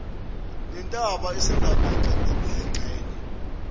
nentaba esegamenxe ngokuyingxenye